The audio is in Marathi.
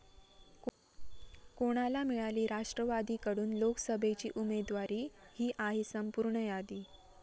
कोणाला मिळाली राष्ट्रवादीकडून लोकसभेची उमेदवारी, ही आहे संपूर्ण यादी